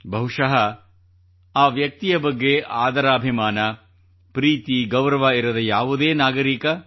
ಬಹುಶಃ ಆ ವ್ಯಕ್ತಿಯ ಬಗ್ಗೆ ಆದರಾಭಿಮಾನ ಪ್ರೀತಿ ಗೌರವ ಇರದ ಯಾವುದೇ ನಾಗರೀಕ